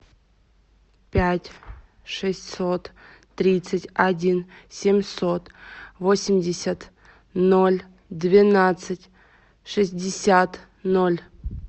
пять шестьсот тридцать один семьсот восемьдесят ноль двенадцать шестьдесят ноль